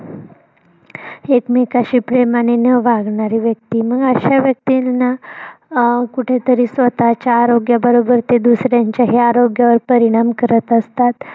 एकमेकांशी प्रेमानी न वागणारे व्यक्ती मग अश्या व्यक्तीना अं कुठेतरी स्वतःच्या आरोग्य बरोबर ते दुसऱ्यांच्याही आरोग्यावर परिणाम करत असतात.